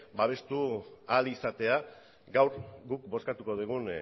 babestu ahal izatea gaur guk bozkatuko dugun